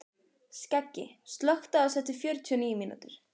Skeggi, slökktu á þessu eftir fjörutíu og níu mínútur.